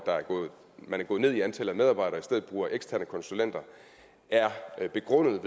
man er gået ned i antallet af medarbejdere og i stedet bruger eksterne konsulenter er begrundet